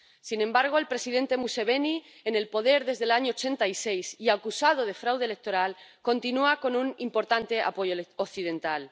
Sin embargo, el presidente Museveni, en el poder desde el año 86 y acusado de fraude electoral, continúa con un importante apoyo occidental.